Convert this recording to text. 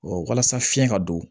walasa fiɲɛ ka don